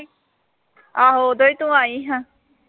ਆਹੋ ਉਦੋਂ ਈ, ਤੂੰ ਆਈ ਆਂ।